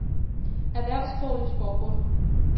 Erhvervssprogligt Forbund